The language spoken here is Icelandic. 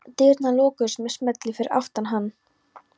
Dyrnar lokuðust með smelli fyrir aftan hann.